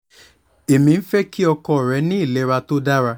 èmi ń fẹ́ kí ọkọ rẹ ní ìlera tó dára